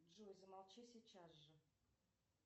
джой замолчи сейчас же